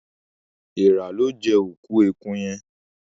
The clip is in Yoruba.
Èèrà lọ jé òkú ẹkú yén